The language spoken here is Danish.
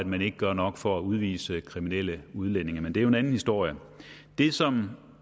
man ikke gør nok for at udvise kriminelle udlændinge men det er jo en anden historie det som